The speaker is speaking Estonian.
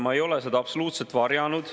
Ma ei ole seda absoluutselt varjanud.